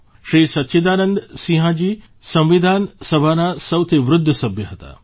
શ્રી સચ્ચિદાનંદ સિંહાજી સંવિધાન સભાના સૌથી વૃદ્ધ સભ્ય હતા